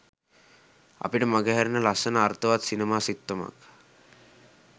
අපිට මඟහැරෙන ලස්සන අර්ථවත් සිනමා සිත්තමක්